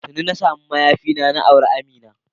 Tuni na samu mayafina na, na auren Amina.